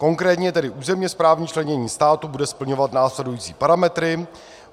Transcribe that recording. Konkrétně tedy územně správní členění státu bude splňovat následující parametry: